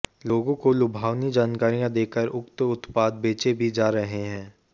लोगों को लुभावनी जानकारियां देकर उक्त उत्पाद बेचे भी जा रहे हैं